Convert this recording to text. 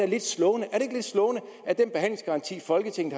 lidt slående at den behandlingsgaranti folketinget